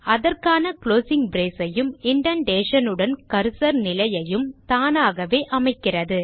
அதற்கான closing brace ஐயும் indentation உடன் கர்சர் நிலையையும் தானாகவே அமைக்கிறது